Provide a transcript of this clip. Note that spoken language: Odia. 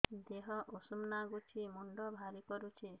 ଦିହ ଉଷୁମ ନାଗୁଚି ମୁଣ୍ଡ ଭାରି କରୁଚି